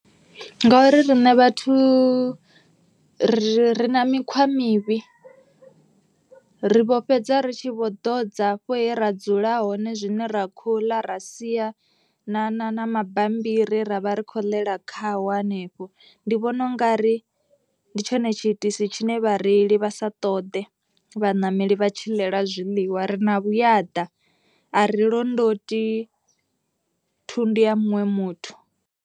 Ngori riṋe vhathu ri na mikhwa mivhi ri vho fhedza ri tshi vho ḓodza hafha he ra dzula hone zwine ra kho ḽa. Ra sia na na na mabammbiri ra vha ri khou ḽa khaho hanefho. Ndi vhona ungari ndi tshone tshiitisi tshine vhareili vha sa ṱoḓe vhaṋameli vha tshi ḽela zwiḽiwa. Ri na vhuyaḓa a ri londoti thundu ya muṅwe muthu.